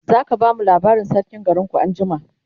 zaka bamu labarin sarkin garinku anjima?